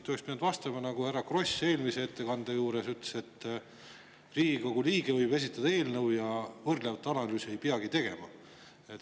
Te oleks pidanud vastama, nagu härra Kross eelmises ütles, et Riigikogu liige võib esitada eelnõu ja võrdlevat analüüsi ei peagi tegema.